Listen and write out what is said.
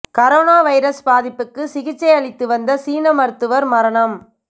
corona virus பாதிப்புக்கு சிகிச்சை அளித்து வந்த சீன மருத்துவர் மரணம்